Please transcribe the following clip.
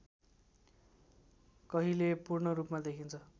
कहिले पूर्णरूपमा देखिन्छ